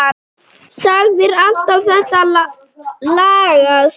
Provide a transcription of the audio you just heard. Sagðir alltaf þetta lagast.